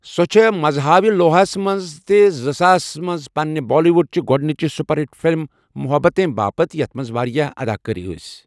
سۄ چھےٚ مزہاوِلوٗہس منٛز تہٕ زٕساسَس منٛز پنٛنہِ بالی وُڈ چہِ گۄڈنِچہِ سُپر ہِٹ فلم 'محبتیں' باپت یتھ منز واریاہ اداکار ٲسۍ۔